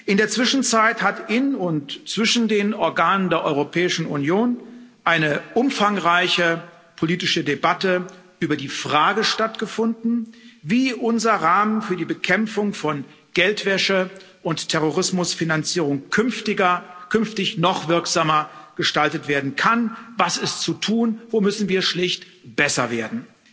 In der Zwischenzeit hat in und zwischen den Organen der Europäischen Union eine umfangreiche politische Debatte über die Frage stattgefunden, wie unser Rahmen für die Bekämpfung von Geldwäsche und Terrorismusfinanzierung künftig noch wirksamer gestaltet werden kann Was ist zu tun, wo müssen wir schlicht besser werden?